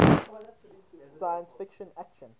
science fiction action